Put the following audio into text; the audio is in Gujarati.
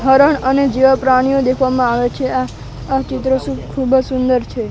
હરણ અને જેવા પ્રાણીઓ દેખવામાં આવે છે આ આ ચિત્ર સુબ ખૂબ જ સુંદર છે.